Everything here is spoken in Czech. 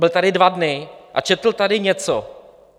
Byl tady dva dny a četl tady něco.